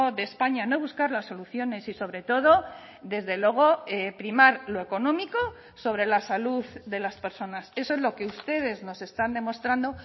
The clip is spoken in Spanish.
de españa no buscar las soluciones y sobre todo desde luego primar lo económico sobre la salud de las personas eso es lo que ustedes nos están demostrando